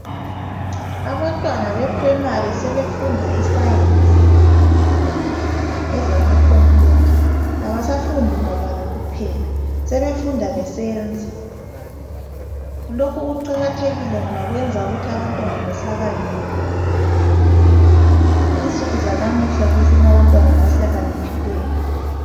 Abantwana be primary sebefunda iscience ezama khompuyutha abasafundi mabala kuphela sebefunda besenza lokho kuqakathekile ngoba kwenza ukuthi abantwana behlakaniphe insuku zanamuhla kufuna abantwana abahlakaniphileyo.